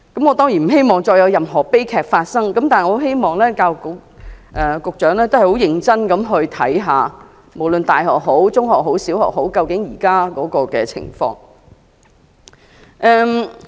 我當然不希望再有任何悲劇發生，但我希望教育局局長能認真地審視，無論是大學、中學和小學現時的情況。